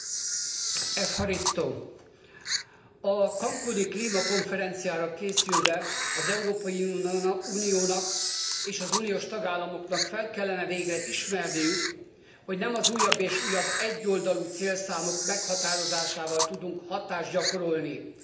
A cancúni klímakonferenciára készülve az Európai Uniónak és az uniós tagállamoknak fel kellene végre ismerniük, hogy nem az újabb és újabb egyoldalú célszámok meghatározásával tudunk hatást gyakorolni az Egyesült Államokra, Kínára, Indiára,